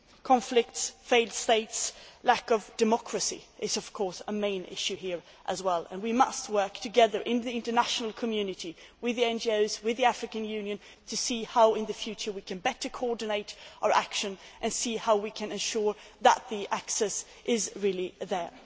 Conflicts, failed states, lack of democracy are, of course, key issues here as well, and we must work together in the international community with the NGOs, with the African Union to see how in the future we can better coordinate our action and how we can ensure that the access is really there.